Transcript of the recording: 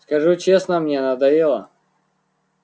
скажу честно мне надоело